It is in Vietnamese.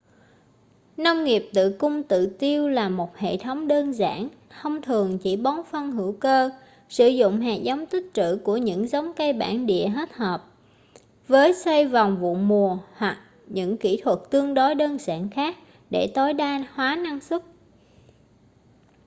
nông nghiệp tự cung tự tiêu là một hệ thống đơn giản thông thường chỉ bón phân hữu cơ sử dụng hạt giống tích trữ của những giống cây bản địa hết hợp với xoay vòng vụ mùa hoặc những kỹ thuật tương đối đơn giản khác để tối đa hóa năng suất